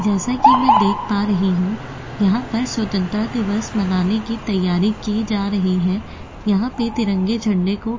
जैसा कि मैं देख पा रही हूं यहां पर स्वतंत्रता दिवस मनाने की तैयारी की जा रही है यहां पे तिरंगे झंडे को --